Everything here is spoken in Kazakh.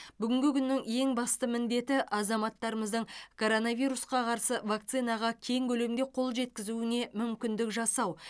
бүгінгі күннің ең басты міндеті азаматтарымыздың коронавирусқа қарсы вакцинаға кең көлемде қол жеткізуіне мүмкіндік жасау